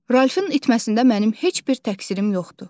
Ralfın itməsində mənim heç bir təqsirim yoxdur.